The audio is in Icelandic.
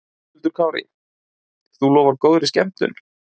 Höskuldur Kári: Þú lofar góðri skemmtun?